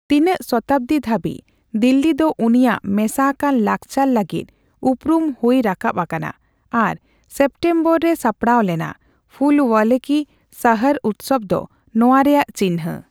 ᱛᱤᱱᱟᱹ ᱥᱚᱛᱟᱵᱫᱤ ᱫᱷᱟᱹᱵᱤᱡ, ᱫᱤᱞᱞᱤ ᱫᱚ ᱩᱱᱤᱭᱟᱜ ᱢᱮᱥᱟ ᱟᱠᱟᱱ ᱞᱟᱠᱪᱟᱨ ᱞᱟᱹᱜᱤᱫ ᱩᱯᱨᱩᱢ ᱦᱩᱭ ᱨᱟᱠᱟᱵ ᱟᱠᱟᱱᱟ ᱟᱨ ᱥᱮᱯᱴᱮᱢᱵᱚᱨ ᱨᱮ ᱥᱟᱯᱲᱟᱣ ᱞᱮᱱᱟ ᱾ ᱯᱷᱩᱞ ᱳᱭᱟᱞᱳ ᱠᱤ ᱥᱟᱤᱨ ᱩᱫᱥᱚᱵ ᱫᱚ ᱱᱚᱣᱟ ᱨᱮᱭᱟᱜ ᱪᱤᱱᱦᱟᱹ